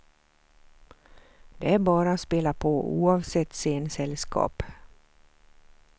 Det är bara att spela på, oavsett scensällskap.